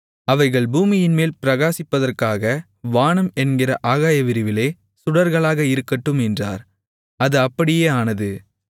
அவைகள் பூமியின்மேல் பிரகாசிப்பதற்காக வானம் என்கிற ஆகாயவிரிவிலே சுடர்களாக இருக்கட்டும் என்றார் அது அப்படியே ஆனது